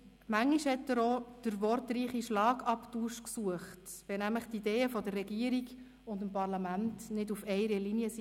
Manchmal suchte er auch den wortreichen Schlagabtausch, nämlich, wenn die Ideen der Regierung und des Parlaments nicht auf einer Linie waren.